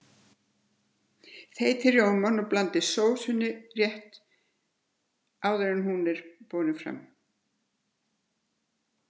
Þeytið rjómann og blandið í sósuna rétt áður en hún er borin fram.